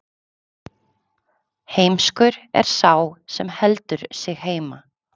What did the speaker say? heimskur er sá sem heldur sig heima